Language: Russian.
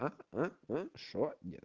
а а а что нет